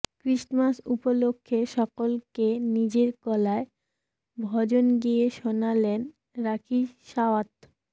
Christmas উপলক্ষে সকলকে নিজের গলায় ভজন গেয়ে শোনালেন রাখি সাওয়ান্ত